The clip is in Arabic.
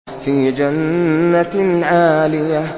فِي جَنَّةٍ عَالِيَةٍ